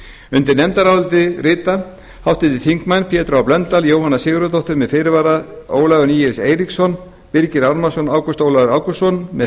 undir nefndarálitið rita háttvirtir þingmenn pétur h blöndal jóhanna sigurðardóttir með fyrirvara ólafur níels eiríksson birgir ármannsson ágúst ólafur ágústsson með